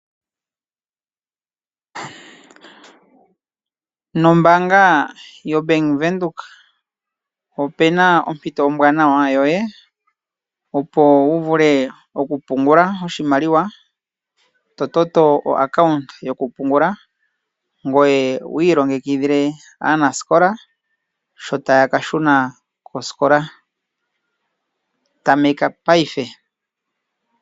Mombaanga yoBank Windhoek, opena ompito ombwaanawa yoye opo wuvule okupungula oshimaliwa to toto epandja lyokupungula, ngoye wiilongekidhile aanasikola shotaya kashuna kosikola, tameka paife.